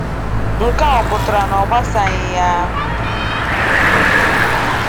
Nkea ọ pụtara na ọ gbasaghị ya?